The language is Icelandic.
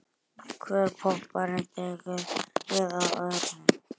Hver popparinn tekur við af öðrum.